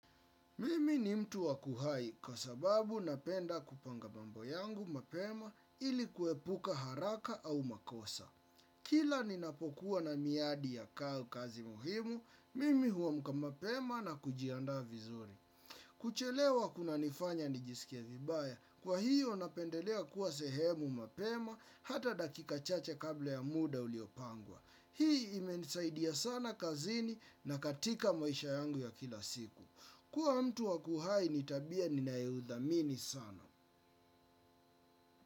Mimi ni mtu wa kuhai kwa sababu napenda kupanga mambo yangu mapema ili kuepuka haraka au makosa. Kila ni napokuwa na miadi ya kazi muhimu, mimi huamka mapema na kujiandaa vizuri. Kuchelewa kuna nifanya nijisikie vibaya, kwa hiyo napendelea kuwa sehemu mapema hata dakika chache kabla ya muda uliopangwa. Hii imenisaidia sana kazini na katika maisha yangu ya kila siku. Kuwa mtu wakuhai ni tabia ni nayoidhamini sana.